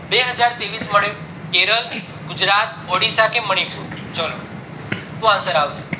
બે હાજર ત્રેવીસ મળ્યો કેરલ ગુજરાત ઓડીસા કે મણીપુર ચલોહું answer આવશે